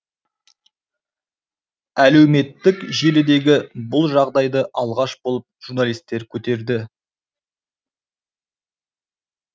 әлеуметтік желідегі бұл жағдайды алғаш болып журналистер көтерді